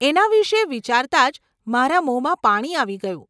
એના વિષે વિચારતા જ મારા મોમાં પાણી આવી ગયું.